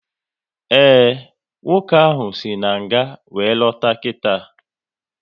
Ee, nwoke ahụ si nga wéré lọta kita